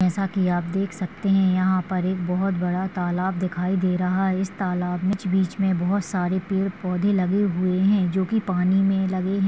जैसा की आप देख सकते है यहाँ पर एक बहुत बड़ा तालाब दिखाई दे रहा है इस तालाब के बीच बीच मे बहुत सारे पेड़-पौधे लगे हुए है जो की पानी मे लगे है।